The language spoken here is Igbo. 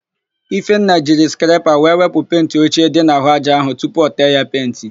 Ifenna jiri skrepa wee wepụ penti ochie dị n'àhụ́ ájá áhụ̀ tupu o tee ya penti.